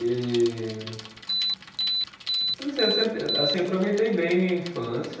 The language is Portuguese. E eu não sei, eu sempre assim aproveitei bem a minha infância.